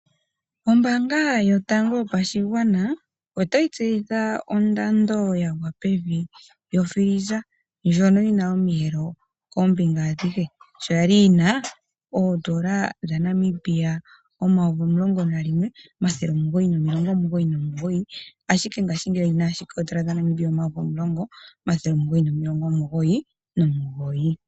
Ombanga yotango yopashigwana ota yi tseyitha ondando ya gwa pevi yokila yokutalaleka ndjono yi na omiyelo koombinga adhihe sho yali yi na oondola dhaNamibia omayovi omulongo nalimwe omathele omugoyi nomilongo omugoyi nomugoyi ashike ngaashingeyi oyi na oondola omayovi omulongo omathele omugoyi nomilongo omugoyi nomugoyi.